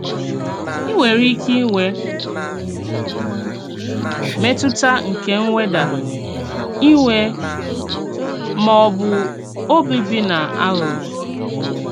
Ì nwerè íké ìnwè mètùtà nke m̀wèdà, ìwè, mà ọ bụ́ òbùbìnà àghụ́ghọ.